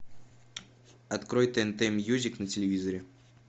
открой тнт мьюзик на телевизоре